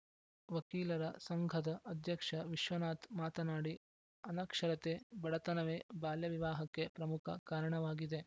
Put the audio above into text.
ವಕೀಲರ ಸಂಘದ ಅಧ್ಯಕ್ಷ ವಿಶ್ವನಾಥ್‌ ಮಾತನಾಡಿ ಅನಕ್ಷರತೆ ಬಡತನವೇ ಬಾಲ್ಯವಿವಾಹಕ್ಕೆ ಪ್ರಮುಖ ಕಾರಣವಾಗಿದೆ